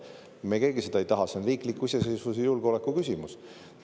Me keegi seda ei taha, see on riikliku iseseisvuse ja julgeoleku küsimus.